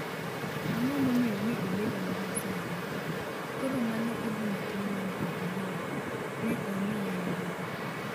Ang’o momiyo ne obedo mana sani ..., koro mano e gimatin mane ok ahero, ne omiya luoro’.